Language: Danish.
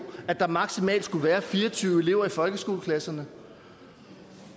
at der maksimalt skulle være fire og tyve elever i folkeskoleklasserne